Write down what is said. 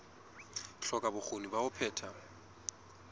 hloka bokgoni ba ho phetha